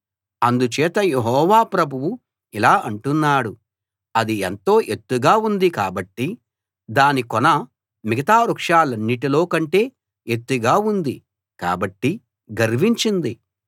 అందుచేత యెహోవా ప్రభువు ఇలా అంటున్నాడు అది ఎంతో ఎత్తుగా ఉంది కాబట్టి దాని కొన మిగతా వృక్షాలన్నిటిలో కంటే ఎత్తుగా ఉంది కాబట్టి గర్వించింది